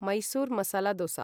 Mysore masala दोस